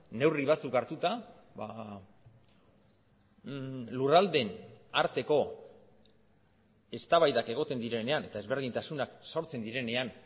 neurri batzuk hartuta lurraldeen arteko eztabaidak egoten direnean eta ezberdintasunak sortzen direnean